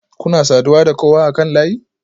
Kuna saduwa da kowa akan layi?